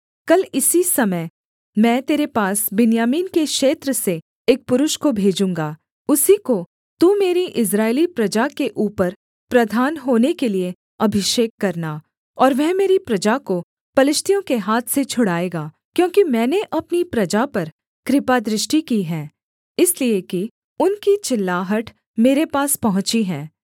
कल इसी समय मैं तेरे पास बिन्यामीन के क्षेत्र से एक पुरुष को भेजूँगा उसी को तू मेरी इस्राएली प्रजा के ऊपर प्रधान होने के लिये अभिषेक करना और वह मेरी प्रजा को पलिश्तियों के हाथ से छुड़ाएगा क्योंकि मैंने अपनी प्रजा पर कृपादृष्टि की है इसलिए कि उनकी चिल्लाहट मेरे पास पहुँची है